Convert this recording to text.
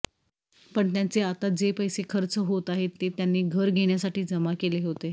पण त्यांचे आता जे पैसे खर्च होत आहेत ते त्यांनी घर घेण्यासाठी जमा केले होते